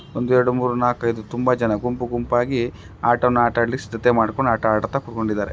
ಒಂದು ಯೆರಡು ಮೂವರು ನಾಲಕು ಐದು ತುಂಬಾ ಜನ ಗುಂಪು ಗುಂಪಾಗಿ ಅಟಾನಾ ಆಟಾಡಿಲಿಕೆ ಸಿದ್ಧತೆ ಮಾಡ್ಕೊಂಡು ಕೂತಿಧಾರೆ .